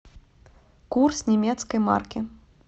курс немецкой марки